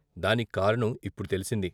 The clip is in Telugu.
దానిక్కారణం ఇప్పుడు తెలిసింది.